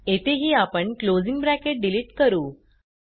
येथेही आपण closing bracket delete करू